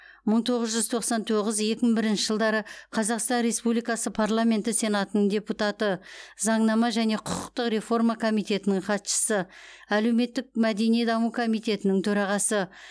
мың тоғыз жүз тоқсан тоғыз екі мың бірінші жылдары қазақстан республикасы парламенті сенатының депутаты заңнама және құқықтық реформа комитетінің хатшысы әлеуметтік мәдени даму комитетінің төрағасы